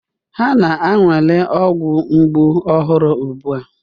Ha na-anwale ọgwụ mgbu ọhụrụ ugbu a.